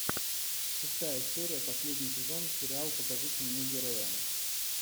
шестая серия последний сезон сериал покажите мне героя